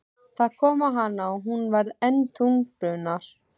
Það kom á hana og hún varð enn þungbúnari.